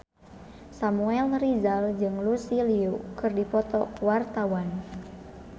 Samuel Rizal jeung Lucy Liu keur dipoto ku wartawan